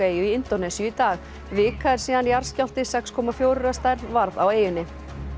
eyju í Indónesíu í dag vika er síðan jarðskjálfti sex komma fjórir að stærð varð á eyjunni